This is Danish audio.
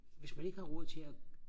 hvis man ikke har råd til og